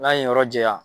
N'a ye yen yɔrɔ janya